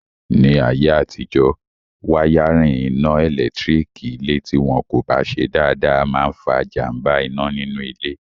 Ní ayé àtijọ́, wáyárìn iná ẹ̀lẹ́tírík ilé tí wọn kò bá ṣe dáadáa máa n fa jàmbá iná nínú ilé